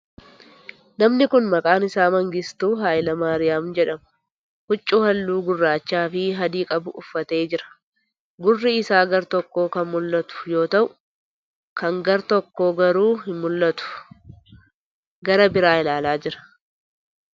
Namni kuni maqaan isaa Mangistuu Hayilamaariyaam jedhama. Huccuu haalluu gurraacha fi adii qabu uffatee jira. Gurri isaa gara tokkoo kan mul'atu yoo ta'u kan gara tokkoo garuu hin mul'atu. Gara biraa ilaalaa jira.